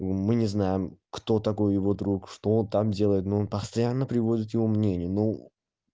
мы не знаем кто такой его друг что он там делает но он постоянно приводит его мнение ну